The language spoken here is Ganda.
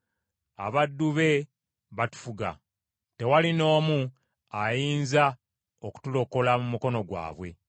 Abaddu be batufuga, tewali n’omu ayinza okutulokola mu mukono gwabwe.